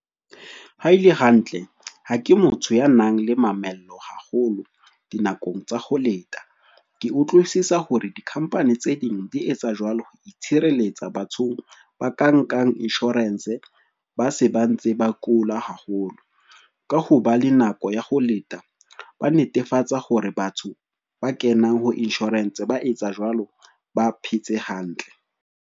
Ha ele hantle, ha ke motho ya nang le mamello haholo dinakong tsa ho leta. Ke utlwisisa hore di-company tse ding di etsa jwalo ho itshireletsa bathong ba ka nkang insurance ba se ba ntse ba kula haholo. Ka ho ba le nako ya ho leta, ba netefatsa hore batho ba kenang ho insurance ba etsa jwalo, ba phetse hantle.